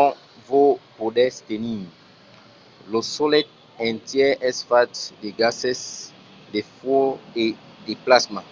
ont vos podètz tenir. lo solelh entièr es fach de gases de fuòc e de plasma